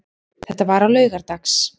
Þetta var á laugardags